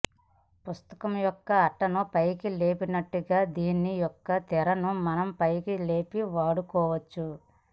పుస్తకం యొక్క అట్టను పైకి లేపినట్టుగా దీని యొక్క తెరను మనం పైకి లేపి వాడుకోవచ్చు